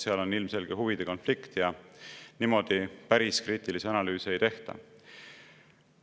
Seal on ilmselge huvide konflikt ja päris niimoodi kriitilisi analüüse ei tehta.